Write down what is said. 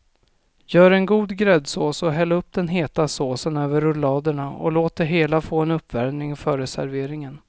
Gör en god gräddsås och häll den heta såsen över rulladerna och låt det hela få en uppvärmning före serveringen.